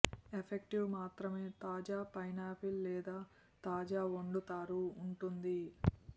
effective మాత్రమే తాజా pineapple లేదా తాజా వండుతారు ఉంటుంది